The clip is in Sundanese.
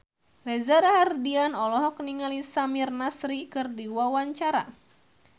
Reza Rahardian olohok ningali Samir Nasri keur diwawancara